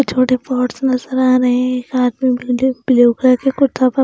छोटे पॉट्स नजर आ रहे हैं घर में ब्लू कलर के कुर्ता पर--